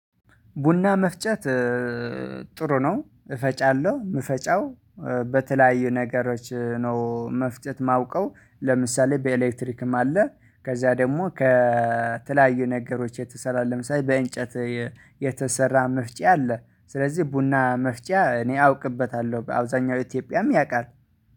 ቡና መፍጨት ጥሩ ነው። እፈጫለሁ የምፈጫው በተለያዩ ነገሮች ነው። መፍጠጥ የማውቀው ለምሳሌ በኤሌክትሪክም አለ። ከዛ ደግሞ ከተለያዩ ነገሮች የተሰራ ለምሳሌ በእንጨት የተሰራ መፍጫ አለ። ስለዚህ ቡና መፍጫ እኔ አውቅበታለሁ በአብዛኛው ኢትዮጵያም ያውቃል